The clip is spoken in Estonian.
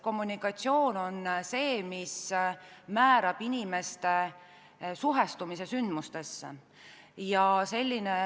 Kommunikatsioon on see, mis määrab inimeste suhtumise sündmustesse.